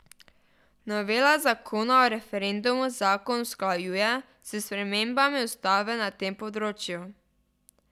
Novela zakona o referendumu zakon usklajuje s spremembami ustave na tem področju.